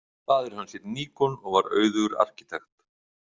Faðir hans hét Níkon og var auðugur arkitekt.